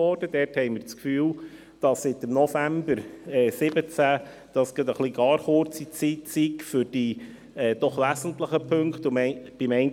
Wir haben den Eindruck, dass die Zeit seit dem November 2017 für diese doch wesentlichen Punkte etwas gar kurz gewesen sei.